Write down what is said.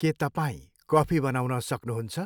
के तपाईँ कफी बनाउन सक्नुहुन्छ?